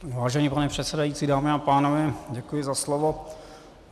Vážený pane předsedající, dámy a pánové, děkuji za slovo.